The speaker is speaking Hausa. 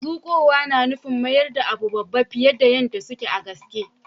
Zukowa na na nufin zama da abun babba fiyar da suke a gaske.